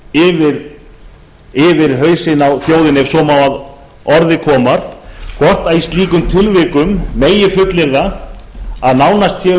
féll yfir hausinn á þjóðinni ef svo má að orði komst hvort í slíkum tilvikum megi fullyrða að nánast sé um